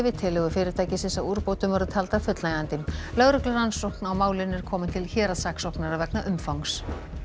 tillögur fyrirtækisins að úrbótum voru taldar fullnægjandi lögreglurannsókn á málinu er komin til héraðssaksóknara vegna umfangs